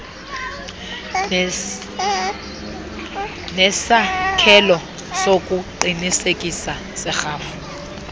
nesakhelo sokuqinisekisa serhafu